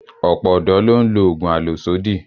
Ọ̀pọ̀ ọ̀dọ́ ló ń lo oògùn àlòsódì